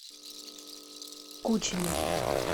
кучине